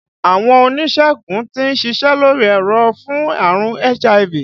Àwọn oníṣègùn tí ń ṣiṣẹ́ lórí ẹ̀rọ̀ fún àrùn HIV